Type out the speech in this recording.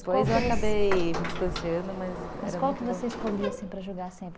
Depois eu acabei me distanciando, mas... Mas qual que você escolhia para jogar sempre?